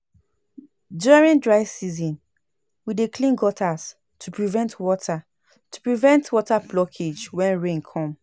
During dry season, we dey clean gutters to prevent water to prevent water blockage when rain come.